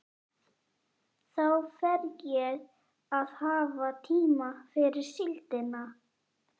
Þá fer ég að hafa tíma fyrir síldina.